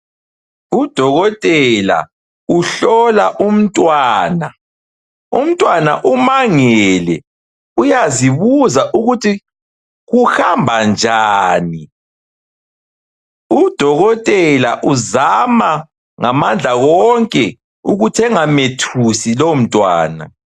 Udokotela uhlola umntwana, umntwana umangele uyazibuza ukuthi kuhamba njani, udokotela uzama ngamandla wonke ukuthi engamthusi lowo mntwana